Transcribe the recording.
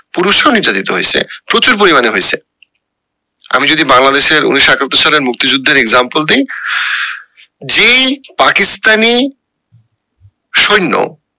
পুরুষরা ও নির্যাতিত হয়েছে প্রচুর পরিমানে হইসে আমি যদি বংলাদেশের উনিশশো একাত্তর সালের মুক্তি যুদ্ধের example দি যেই পাকিস্তানী সৈন্য